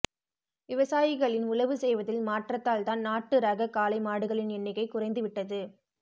விவசாயிகளின் உழவு செய்வதில் மாற்றத்தால்தான் நாட்டு ரக காளை மாடுகளின் எண்ணிக்கை குறைந்து விட்டது